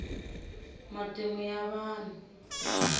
matimu ya vahnu